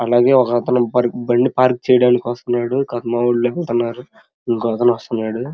అలాగే ఒకతను బండి పార్క్ చేయడానికి వస్తున్నాడు ఒకతను ఎక్కుతునడు ఇంకో అతను వస్తున్నాడు.